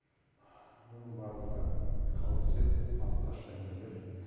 мұның барлығы қауесет алып қашпа әңгімелер